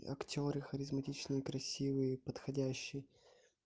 и актёры харизматичные красивые подходящий